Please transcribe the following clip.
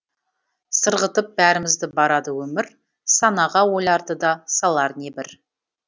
сырғытып бәрімізді барады өмір санаға ойларды да салар небір